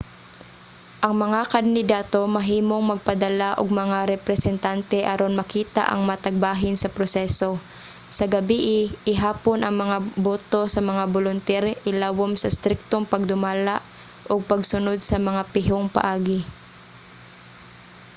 ang mga kandidato mahimong magpadala og mga representante aron makita ang matag bahin sa proseso. sa gabii ihapon ang mga boto sa mga bolunter ilawom sa striktong pagdumala ug pagsunod sa mga pihong paagi